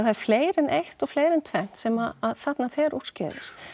er fleira en eitt og fleira en tvennt sem að þarna fer úrskeiðis